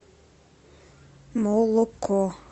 молоко